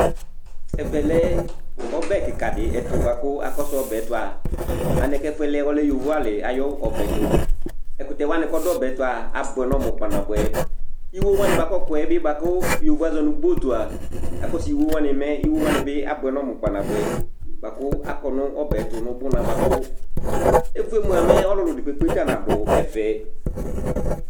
Ɛvɛ lɛ ɔbɛ kɩka dɩ ɛtʋ la kʋ akɔsʋ ɔbɛ tʋ a, mɛ alɛna yɛ kʋ ɛfʋ yɛ lɛ ɔlɛ yovoalɩ ayʋ ɔbɛ tʋ Ɛkʋtɛ wanɩ kʋ ɔdʋ ɔbɛ tʋ a, abʋɛ nʋ ɔmʋ kpanabʋɛ Iwo wanɩ bʋa kʋ ɔkɔ yɛ bɩ bʋa kʋ bot yovo azɔ nʋ bot a, akɔsʋ iwo wanɩ, mɛ iwo wanɩ bɩ abʋɛ nʋ ɔmʋ kpanabʋɛ bʋa kʋ akɔ nʋ ɔbɛ tʋ nʋ ʋbʋna bʋa kʋ eve yɛ mʋa, mɛ ɔlʋlʋ dɩ kpekpe nadʋ ɛfɛ